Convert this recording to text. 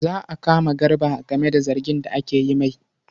Za a kama Garba game da zargin da ake yi ma.